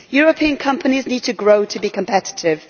European companies need to grow to be competitive.